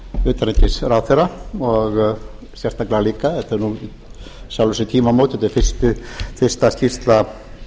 utanríkisráðherra og sérstaklega líka eru þau í sjálfu sér tímamót þetta er fyrsta skýrsla